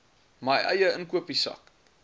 my eie inkopiesak